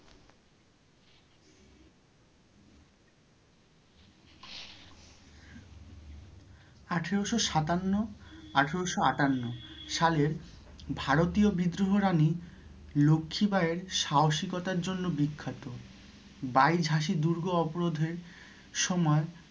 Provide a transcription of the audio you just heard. আঠেরোশো সাতান্ন, আঠেরোশো আটান্ন সালের ভারতীয় বিদ্রোহে রানী লক্ষি বাইয়ের সাহসিকতার জন্য বিখ্যাত বাই ঝাঁসি দুর্গ ওপরোধে হয়ে সময়